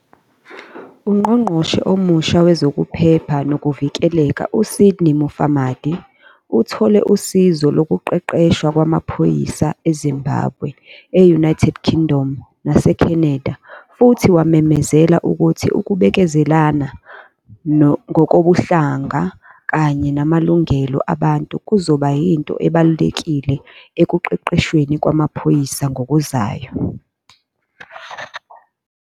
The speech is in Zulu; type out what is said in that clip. UNgqongqoshe omusha Wezokuphepha Nokuvikeleka, uSydney Mufamadi, uthole usizo lokuqeqeshwa kwamaphoyisa eZimbabwe, e- United Kingdom naseCanada futhi wamemezela ukuthi ukubekezelelana ngokobuhlanga kanye namalungelo abantu kuzoba yinto ebalulekile ekuqeqeshweni kwamaphoyisa ngokuzayo.